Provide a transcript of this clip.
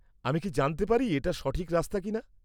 আমি কি জানতে পারি এটা সঠিক রাস্তা কিনা?